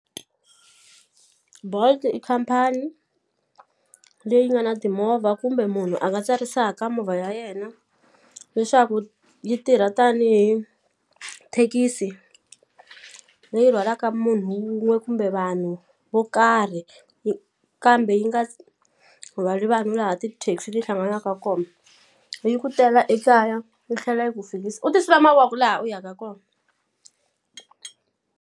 Bolt i khampani leyi nga na timovha kumbe munhu a nga tsarisaka movha ya yena leswaku yi tirha tanihi thekisi leyi rhwalaka munhu wun'we kumbe vanhu vo karhi kambe yi nga rhwali vanhu laha ti-taxi ti hlanganaka kona yi ku tela ekaya yi tlhela yi ku fikisa u ti sula mavoko laha u yaka kona.